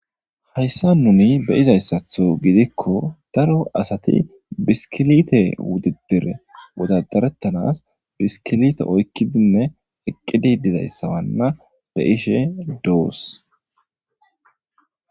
Haysan nuuni be'izasato gidiko daro asati biskilite wududure wodadaretanawu biskilite oykidine eqidi dizaysa be'ishe de'os.